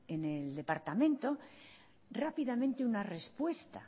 en el departamento rápidamente una respuesta